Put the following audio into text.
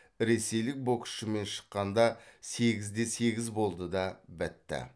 ресейлік боксшымен шыққанда сегіз де сегіз болды да бітті